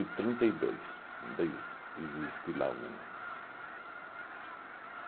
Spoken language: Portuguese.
e trinta e dois. Ainda ex existe lá um